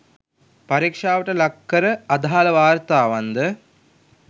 පරීක්ෂාවට ලක් කර අදාළ වාර්තාවන්ද